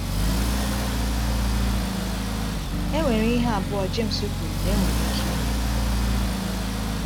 E nwere ihe abụọ Jems kwuru na enwere ike ime.